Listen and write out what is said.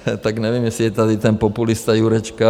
Tak nevím, jestli je tady ten populista Jurečka?